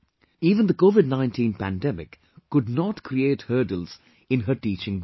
Even the Covid 19 pandemic could not create hurdles in her teaching work